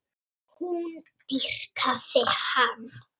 Sú seinni var reist